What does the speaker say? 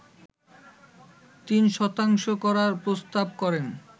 ৩ শতাংশ করার প্রস্তাব করেন